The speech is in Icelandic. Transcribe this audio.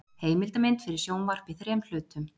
Heimildamynd fyrir sjónvarp í þrem hlutum.